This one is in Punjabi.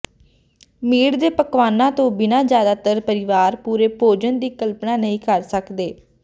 ਮੀਟ ਦੇ ਪਕਵਾਨਾਂ ਤੋਂ ਬਿਨਾ ਜ਼ਿਆਦਾਤਰ ਪਰਿਵਾਰ ਪੂਰੇ ਭੋਜਨ ਦੀ ਕਲਪਨਾ ਨਹੀਂ ਕਰ ਸਕਦੇ